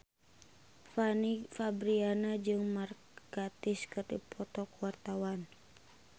Fanny Fabriana jeung Mark Gatiss keur dipoto ku wartawan